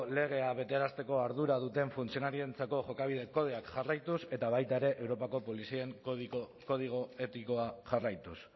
legea betearazteko ardura duten funtzionarioentzako jokabide kodeak jarraituz eta baita ere europako polizien kodigo etikoa jarraituz